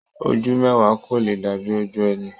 Ojú mẹwa ko lè dàbí ojú ẹni.